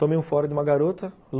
Tomei um fora de uma garota.